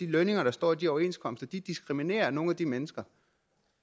lønninger der står i de overenskomster diskriminerer nogle af de mennesker